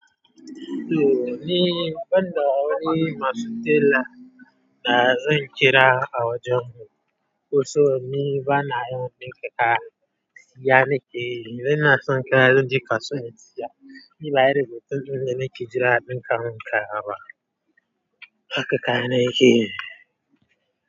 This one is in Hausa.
To ni, ban da wani masu tela da zan kira a wajen mu. Kusan ni bana yawan ɗinka kaya. Siya nake? Ina son kaya zan je kasuwa na saya. Ni ba irin mutum din da nake jira ɗin kamun kata. Haka kana yake.